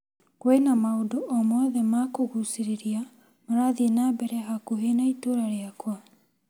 Kwĩna maũndũ o mothe ma kũgucĩrĩria marathiĩ na mbere hakuhĩ na itũra rĩakwa ?